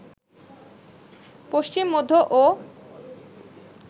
পশ্চিম, মধ্য ও